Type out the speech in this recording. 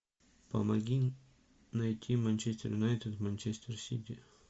помоги найти манчестер юнайтед манчестер сити